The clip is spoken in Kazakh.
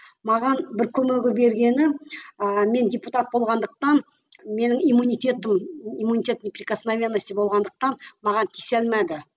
маған бір көмегі бергені ыыы мен депутат болғандықтан менің иммунитетім имунитетный прикосновенности болғандықтан маған тисе алмады